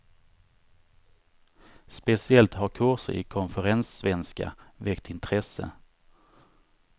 Speciellt har kurser i konferenssvenska väckt intresse.